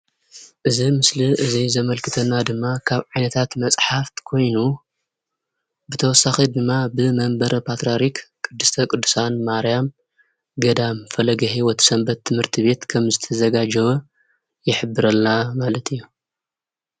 እዚ ምስሊ እዚ ዘመልክተና ድማ ካብ ዓይነታት መፅሓፍ ኮይኑ ብተወሳኺ ድማ ብመንበረ ፓትሪያሪክ ቅድስተ ቅዱሳን ማርያም ገዳም ፈለገ-ሂወት ሰንበት ትምህርት ቤት ከም ዝተዘጋጀወ ይሕብረልና ማለት እዩ፡፡